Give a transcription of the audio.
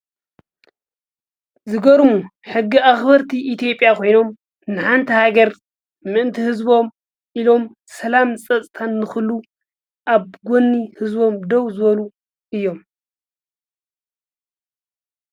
ዝገርሙ ሕጊ ኣክበርቲ ኢትዮጲያ ኮይኖም ንሓንቲ ሃገር ምእንተ ህዝቦሞ ኢሎም ሰላምን ፀጥታን ንክህሉ ኣብ ጎኒ ህዝቦም ደው ዝበሉ እዮም::